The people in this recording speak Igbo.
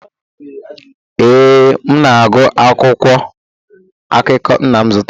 ee, m na-agụ akwụkwọ akụkọ nna m zụtara